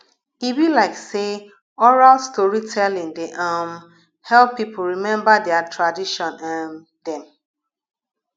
e be like sey oral storytelling dey um help pipo rememba their tradition um dem